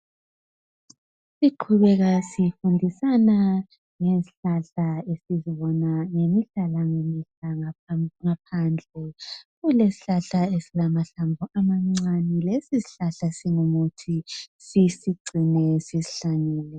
Siqhubeka sifundisana ngezihlahla esizibona ngemihla langemihla ngaphandle . Kulesihlahla esilamahlamvu amancane lesisihlahla singumuthi. Sisigcine , sisihlanyele.